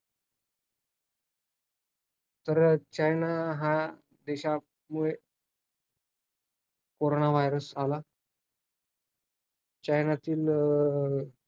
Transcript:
असं नाहीये की पृथ्वीचे तापमान अगोदर वाढत नव्हतं पण जे माणसांनी केलेल्या कृतींमुळे ते जलद गतीने वाढत आहे.